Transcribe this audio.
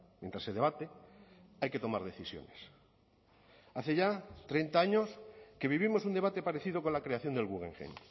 mientras se debate hay que tomar decisiones hace ya treinta años que vivimos un debate parecido con la creación del guggenheim